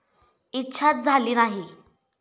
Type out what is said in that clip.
इच्छाच झाली नाही.